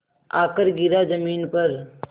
आकर गिरा ज़मीन पर